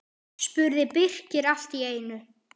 spurði Birkir allt í einu.